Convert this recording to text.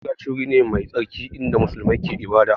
Masallaci wuri ne mai tsarki inda musulmi suke ibada